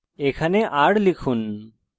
এখানে r লিখুন